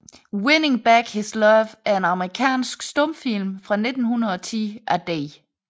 Winning Back His Love er en amerikansk stumfilm fra 1910 af D